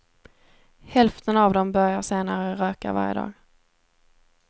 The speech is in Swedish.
Hälften av dem börjar senare röka varje dag.